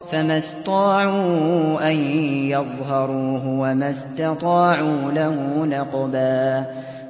فَمَا اسْطَاعُوا أَن يَظْهَرُوهُ وَمَا اسْتَطَاعُوا لَهُ نَقْبًا